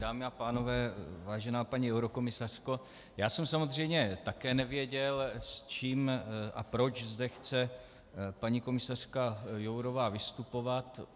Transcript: Dámy a pánové, vážená paní eurokomisařko, já jsem samozřejmě také nevěděl, s čím a proč zde chce paní komisařka Jourová vystupovat.